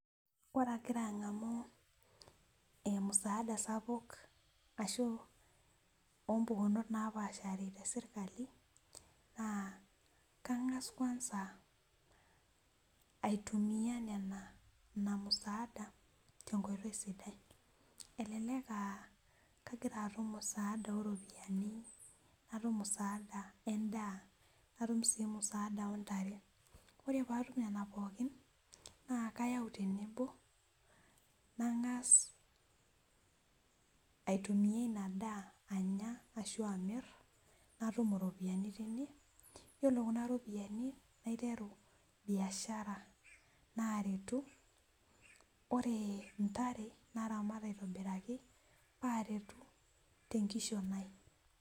ore agira agamu musaada sapuk oompukunot naapasha te sirkali naa keng'as kwanza aitumiya nena musaada tenkoitoi sidai , elelek aa kagira atum musada oropiyiani natum musada edaa natum sii musaada oontare , ore pee atum kuna pooki nang'as aitumiya inadaa anya ashu amir natum iropiyiani tine iyiolo kunaropiyiani naiteru biashara naaretu ore intare, naramat aitobiraki pee aretu tenkishon ai.